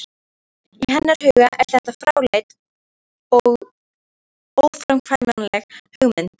Í hennar huga er þetta fráleit og óframkvæmanleg hugmynd.